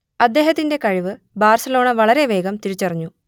അദ്ദേഹത്തിന്റെ കഴിവ് ബാർസലോണ വളരെ വേഗം തിരിച്ചറിഞ്ഞു